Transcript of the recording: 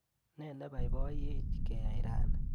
Nee nebaibayech keyai rani?